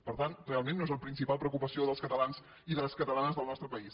per tant realment no és la principal preocupació dels catalans i de les catalanes del nostre país